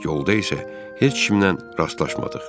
Yolda isə heç kimlə rastlaşmadıq.